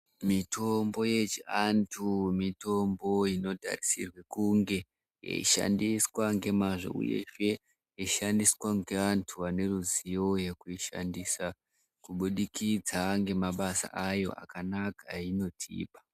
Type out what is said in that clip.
Mitombo yechiantu mitombo inotarisirwe kunge yeishandiswa ngemazvo uyezve yeishandiswa ngeantu ane ruziwo yekuishandisa kubudikidza ngemabasa ayo akanaka ainotipa.